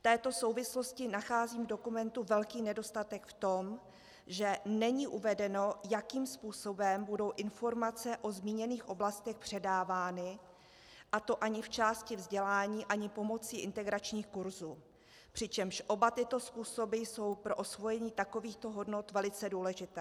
V této souvislosti nacházím v dokumentu velký nedostatek v tom, že není uvedeno, jakým způsobem budou informace o zmíněných oblastech předávány, a to ani v části vzdělání ani pomocí integračních kurzů, přičemž oba tyto způsoby jsou pro osvojení takovýchto hodnot velice důležité.